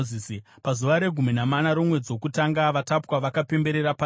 Pazuva regumi namana romwedzi wokutanga, vatapwa vakapemberera Pasika.